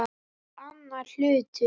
Það er annar hlutur.